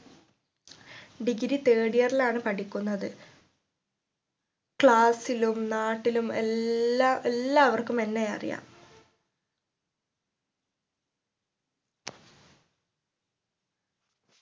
Degreethird year ലാണ് പഠിക്കുന്നത് class ലും നാട്ടിലും എല്ലാ എല്ലാവർക്കും എന്നെ അറിയാം